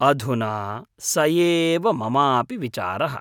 अधुना स एव ममापि विचारः।